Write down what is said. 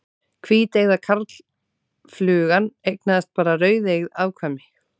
Hvíteygða karlflugan eignaðist bara rauðeygð afkvæmi.